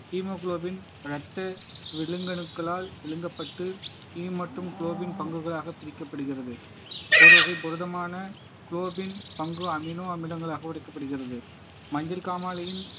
haemoglobin இரத்த விலங்கணுக்களால் விழுங்கப்பட்டு ஹி மற்றும் குளோபின் பங்குகளாக பிரிக்கப்படுகிறது ஒரு வகை புரதமான குளோபின் பங்கு அமினோ அமிலங்களாக உடைக்கப்படுகிறது மஞ்சள் காமாலையின்